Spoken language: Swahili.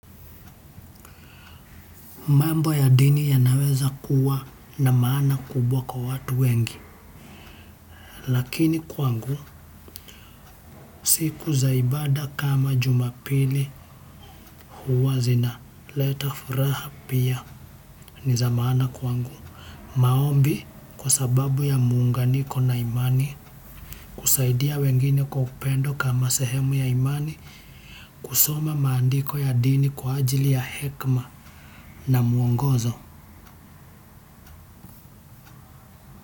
Mambo ya dini yanaweza kuwa na maana kubwa kwa watu wengi, lakini kwangu siku za ibada kama Jumapili huwa zina. Leta furaha pia ni za maana kwangu. Maombi, kwa sababu ya muunganiko na imani husaidia wengine kwa upendo kama sehemu ya imani. Kusoma maandiko ya dini kwa ajili ya hekima na mwongozo.